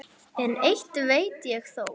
En eitt veit ég þó.